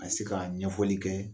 A ni se ka ɲɛfɔli kɛ